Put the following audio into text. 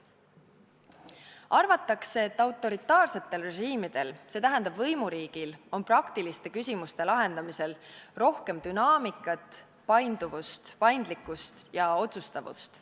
Arvatakse, et autoritaarsetel režiimidel, st võimuriigil, on praktiliste küsimuste lahendamisel rohkem dünaamikat, painduvust, paindlikkust ja otsustavust.